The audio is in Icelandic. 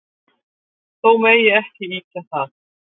Þó megi ekki ýkja það.